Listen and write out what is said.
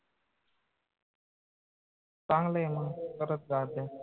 चांगलंय मंग घटक चाचन्या